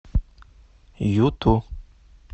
юту